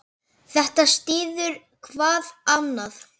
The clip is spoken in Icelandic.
Þetta styður hvað annað.